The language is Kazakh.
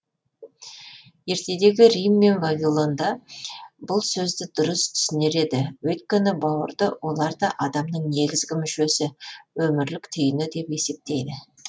ертедегі рим мен вавилонда бұл сөзді дұрыс түсінер еді өйткені бауырды олар да адамның негізгі мүшесі өмірлік түйіні деп есептейді